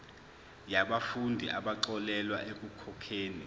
yabafundi abaxolelwa ekukhokheni